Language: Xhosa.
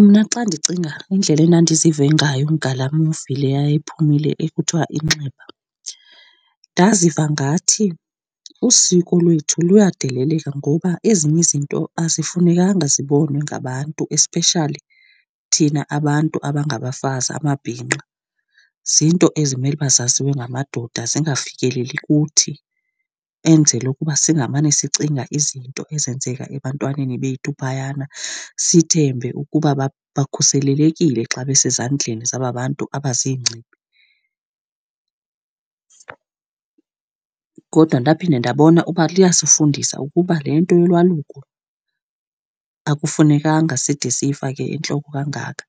Mna xa ndicinga indlela endandizive ngayo ngalaa movie le yayiphumile ekuthiwa Inxeba, ndaziva ngathi usiko lwethu luyadeleleka. Ngoba ezinye izinto azifanelanga zibonwe ngabantu, especially thina abantu abangabafazi, amabhinqa. Ziinto ezimele uba zaziwe ngamadoda zingafikeleli kuthi, enzela ukuba singamane sicinga izinto ezenzeka ebantwaneni bethu phayana, sithembe ukuba bakhuselelekile xa besezandleni zaba bantu abaziingcibi. Kodwa ndaphinde ndabona uba liyasifundisa ukuba le nto yolwaluko akufunekanga side siyifake entloko kangaka